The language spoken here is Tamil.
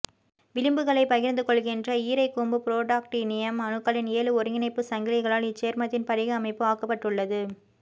விளிம்புகளைப் பகிர்ந்து கொள்கின்ற ஈரைங்கூ ம்பு புரோடாக்டினியம் அணுக்களின் ஏழு ஒருங்கிணைப்பு சங்கிலிகளால் இச்சேர்மத்தின் படிக அமைப்பு ஆக்கப்பட்டுள்ளது